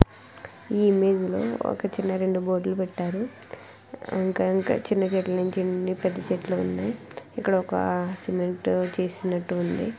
ఇకడ board పెట్టారు చిన్న చెట్లు ఉన్నాయ పెద్ద చెట్లు ఉన్నాయి ఇక్కడ సిమెంట్ తెసినటు ఉంది .